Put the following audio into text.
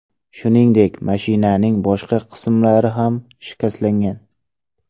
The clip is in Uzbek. Shuningdek, mashinaning boshqa qismlari ham shikastlangan.